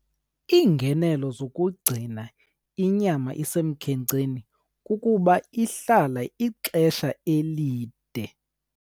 Iingenelo zokugcina inyama isemkhenkceni kukuba ihlala ixesha elide.